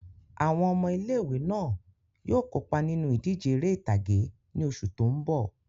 Àwọn ọmọ ilé ìwé náà yóò kópa nínú ìdíje eré ìtàgé ní oṣù tó mbọ̀